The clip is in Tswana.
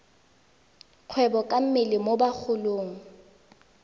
kgwebo ka mmele mo bagolong